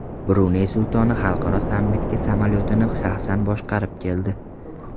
Bruney sultoni xalqaro sammitga samolyotini shaxsan boshqarib keldi .